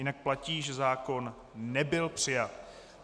Jinak platí, že zákon nebyl přijat.